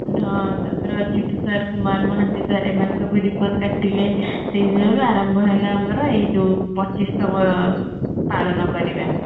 ତାପରେ Achyut sir Kumar Mohanty sir ଏମାନେ ସବୁ ribbon କାଟିଲେ ସେଇ ଦିନରୁ ଆରମ୍ଭ ହେଲା ଆମର ଏଇ ଯୋଉ ପଚିଶ ତମ ପାଳନ କରିବା